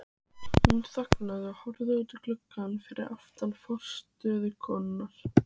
Hún þagnaði og horfði út um gluggann fyrir aftan forstöðukonuna.